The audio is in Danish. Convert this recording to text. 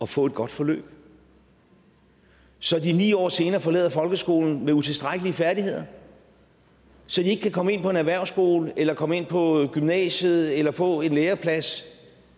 få et godt forløb så de ni år senere forlader folkeskolen med utilstrækkelige færdigheder så de ikke kan komme ind på en erhvervsskole eller komme på gymnasiet eller få en læreplads